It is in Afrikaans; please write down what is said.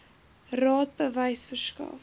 raad bewys verskaf